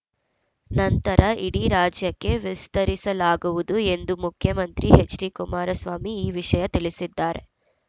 ನಂತರ ಇಡೀ ರಾಜ್ಯಕ್ಕೆ ವಿಸ್ತರಿಸಲಾಗುವುದು ಎಂದು ಮುಖ್ಯಮಂತ್ರಿ ಎಚ್‌ಡಿಕುಮಾರಸ್ವಾಮಿ ಈ ವಿಷಯ ತಿಳಿಸಿದ್ದಾರೆ